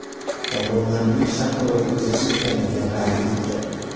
Tomonlarning shartnomaga imzo chekkanligi qayd etilgan.